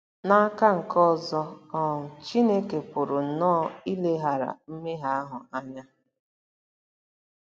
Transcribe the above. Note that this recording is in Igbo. N'aka nke ọzọ, um Chineke pụrụ nnọọ ileghara mmehie ahụ anya.